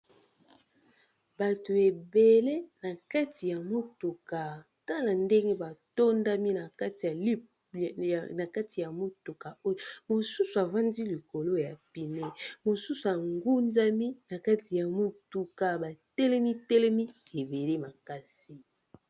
bato ebele na kati ya motuka tala ndenge batondami na kati ya motuka oyo mosusu afandi likolo ya pine mosusu angundami na kati ya motuka batelemi telemi ebeli makasi